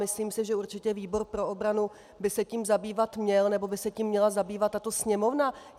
Myslím si, že určitě výbor pro obranu by se tím zabývat měl, nebo by se tím měla zabývat tato Sněmovna.